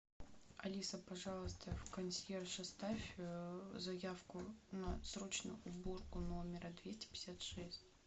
алиса пожалуйста в консьерж оставь заявку на срочную уборку номера двести пятьдесят шесть